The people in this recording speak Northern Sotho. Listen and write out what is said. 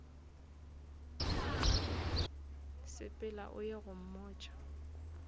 sepela o ye go mmotša